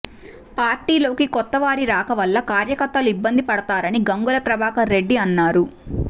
పార్టీలోకి కొత్తవారి రాక వల్ల కార్యకర్తలు ఇబ్బంది పడుతారని గంగుల ప్రభాకర్ రెడ్డి అన్నారు